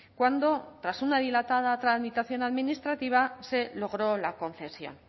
cuando tras una dilatada tramitación administrativa se logró la concesión